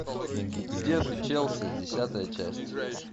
где ты челси десятая часть